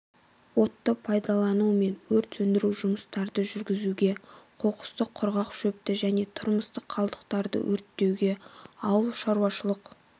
отты пайдалануымен өрт сөндіру жұмыстарды жүргізуге қоқысты құрғақ шөпті және тұрмыстық қалдықтарды өрттеуге ауыл шаруашылық